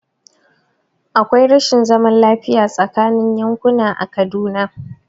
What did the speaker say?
Akwai rashin zaman lafiya tsaakanin yankuna a Kaduna.